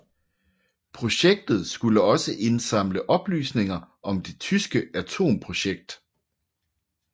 Projektet skulle også indsamle oplysninger om det tyske atomprojekt